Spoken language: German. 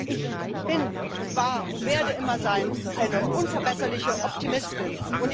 Ich bin und war und werde immer eine unverbesserliche Optimistin sein.